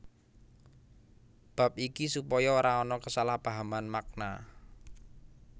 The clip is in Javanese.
Bab iki supaya ora ana kesalahpahaman makna